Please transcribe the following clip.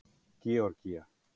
Georgía